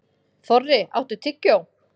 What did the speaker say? Þorri, áttu tyggjó?